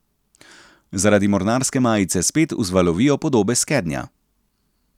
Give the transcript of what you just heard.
Zaradi mornarske majice spet vzvalovijo podobe s skednja.